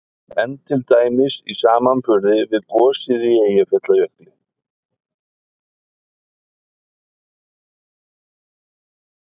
En til dæmis í samanburði við gosið í Eyjafjallajökli?